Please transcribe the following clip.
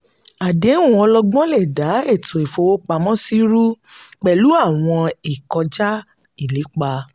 àdéhùn ọlọ́gbọ́n lè da ètò ìfowópamọ́sí rú pẹ̀lú àwọn ìkọjá-ìlépa.